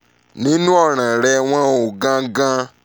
nínú ọ̀ràn rẹ wọn ò gan gan-an